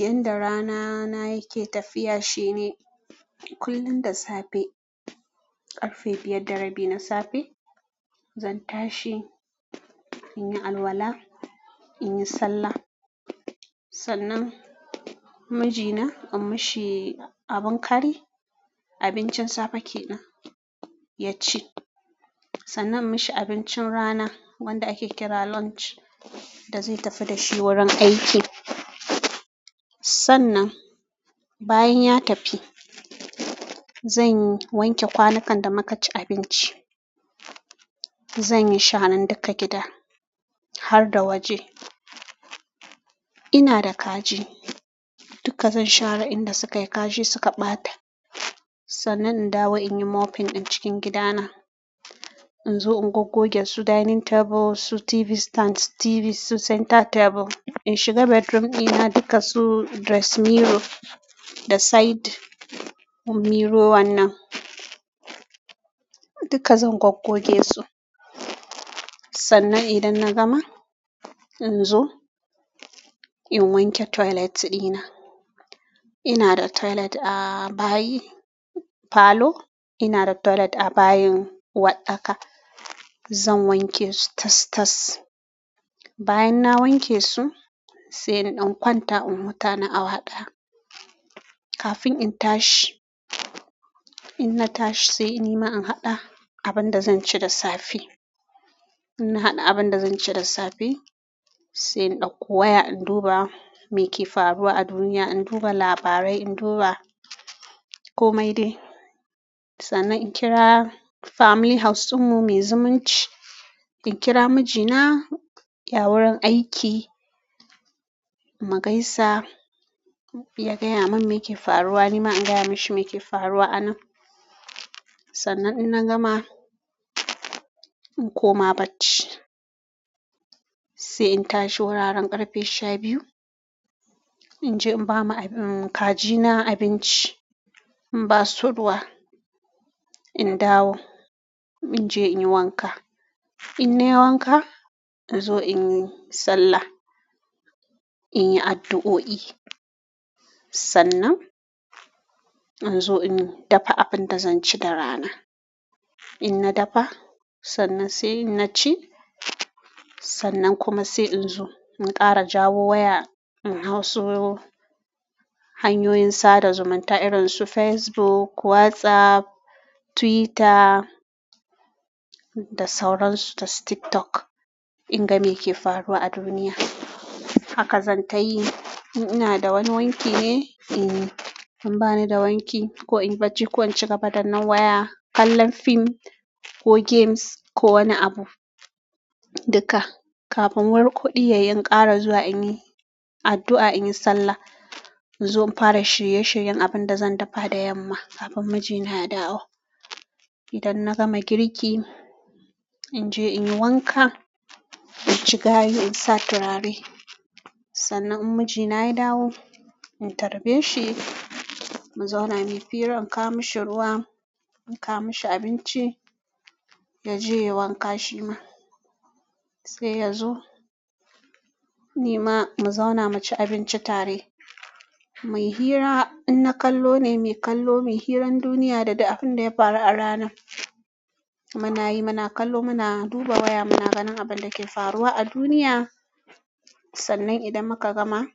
Yanda rana na yake tafiya shine kullum da safe ƙarfe biyar da rabi na safe zan tashi in yi alwala, in yi sallah. Sannan mijina in mishi abin ƙari, abincin safe ke nan ya ci. Sannan in mishi abincin rana wanda ake kira lunch da zai tafi da shi wurin aiki. Sannan bayan ya tafi zan wanke kwanukan da muka ci abinci. Zanyi sharan duka gida har da waje, ina da kaji dukka zan share inda sukayi kashi suka ɓata. Sannan in dawo in yi mopping a cikin gida na. In zo in goggoge su dining table, su TV stands, TV, su center table. In shiga bedroom ɗina duka su dressing mirror da side mirror wannan duka zan goggoge su. Sannan idan na gama in zo in wanke toilet ɗina. Ina da toilet a bayi parlour, ina da toilet a bayin uwarɗaka zan wanke su tas-tas. Bayan na wanke su sai na ɗan kwanta in huta na awa haɗa kafin in tashi. In na tashi sai ni ma in haɗa abin da zan ci da safe. In na haɗa abin da zan ci da safe sai na ɗauko waya in duba me ke faruwa a duniya. In duba labarai, in duba komai dai. Sannan in kira family house ɗinmu muyi zumunci, sannan in kira mijina ya wurin aiki mu gaisa. Ya gaya min me ke faruwa ni ma in gaya mashi me ke faruwa a nan. Sannan idan na gama in koma barci sai in tashi wuraren ƙarfe shabiyu. In je in bama kaji na abinci in basu ruwa in dawo. In je in yi wanka. In nayi wanka in zo in yi sallah, in yi addu'o'i. Sannan in zo in dafa abin da zan ci da rana. In na dafa sannan sai na ci. Sannan kuma sai in zo in ƙara jawo waya in hausu hanyoyin sada zumunta irin su Facebook, WhatsApp, Twitter da sauran su da TikTok in ga me ke faruwa a duniya. Haka zan ta yi. In ina da wani wanki ne in yi. In ba ni da wanki ko inyi bacci ko in ci gabadanan waya, kallon fim ko games ko wani abu duka kafin war koɗiyai in ƙara zuwa in yi addu'a, in yi sallah. In zo in fara shirye-shiryen abin da zan dafa da yamma kafin mijina ya dawo. Idan na gama girki in je in yi wanka, in ci gayu, in sa turare. Sannan in mijina ya dawo in tarbe shi mu zauna mu yi fira, in kawo mashi ruwa, in kawo mashi abinci ya je ya yi wanka shi ma sai ya zo nima mu zauna mu ci abinci tare. Mu yi hira. In na kallo ne mu yi kallo, mu yi hirar duniya da dai abin da ya faru a rana. Muna yi, muna kallo, muna duba waya, muna ganin abin da ke faruwa a duniya. Sannan idan muka gama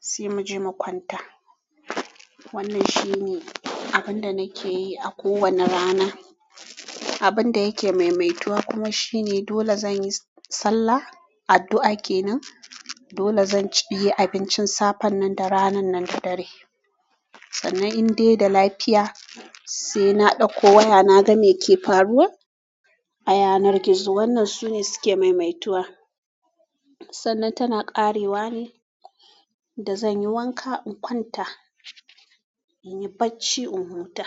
sai mu je mu kwanta. Wannan shi ne abin da nake yi a kowane rana. Abin da yake maimaituwa kuma shi ne dole zan yi sallah, addu'a ke nan, dole zan cinye abincin safan nan da ranan nan da dare. Sannan in dai da lafiya sai na ɗauko waya na ga me ke faruwa a yanar gizo. Wannan su ne suke maimaituwa. Sannan tana ƙarewa ne da zan yi wanka in kwanta, in yi bacci in huta.